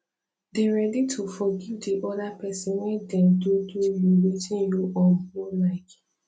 dey ready to forgive di oda person when dem do do you wetin you um no like